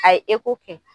A ye kɛ